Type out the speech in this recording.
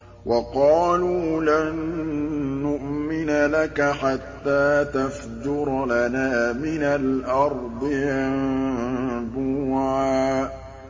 وَقَالُوا لَن نُّؤْمِنَ لَكَ حَتَّىٰ تَفْجُرَ لَنَا مِنَ الْأَرْضِ يَنبُوعًا